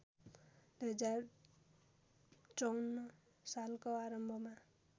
२०५४ सालको आरम्भमा